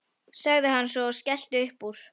sagði hann svo og skellti upp úr.